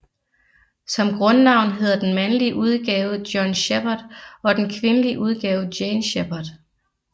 Som grundnavn hedder den mandlige udgave John Shepard og den kvindelige udgave Jane Shepard